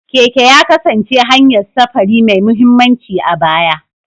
Keke ya kasance hanyar safari mai mahimmanci a baya.